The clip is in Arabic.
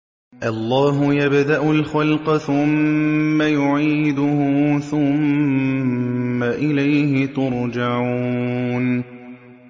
اللَّهُ يَبْدَأُ الْخَلْقَ ثُمَّ يُعِيدُهُ ثُمَّ إِلَيْهِ تُرْجَعُونَ